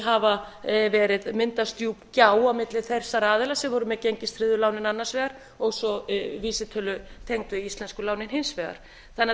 enn á ný hafi myndast djúp gjá á milli þessara aðila sem voru með gengistryggðu lánin annars vegar og svo vísitölutengdu íslensku lánin hins vegar þannig að